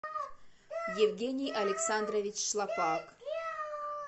евгений александрович шлапак